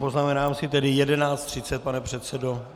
Poznamenám si tedy 11.30, pane předsedo.